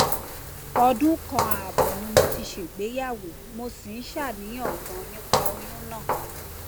ọdún kan ààbọ ni mo ti ṣègbéyàwó mo sì ń ṣàníyàn ganan nípa oyún náà